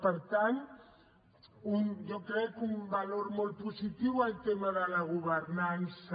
per tant jo crec que un valor molt positiu el tema de la governança